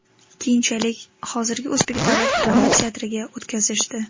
Keyinchalik hozirgi O‘zbek davlat drama teatriga o‘tkazishdi.